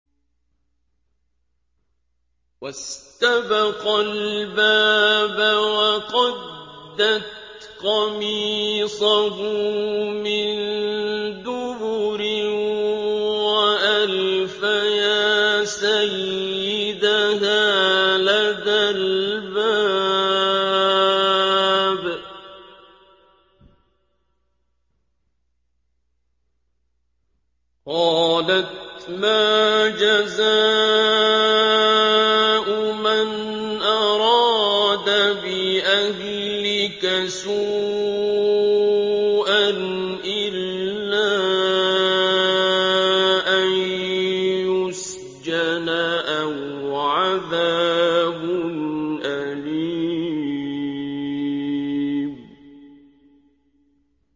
وَاسْتَبَقَا الْبَابَ وَقَدَّتْ قَمِيصَهُ مِن دُبُرٍ وَأَلْفَيَا سَيِّدَهَا لَدَى الْبَابِ ۚ قَالَتْ مَا جَزَاءُ مَنْ أَرَادَ بِأَهْلِكَ سُوءًا إِلَّا أَن يُسْجَنَ أَوْ عَذَابٌ أَلِيمٌ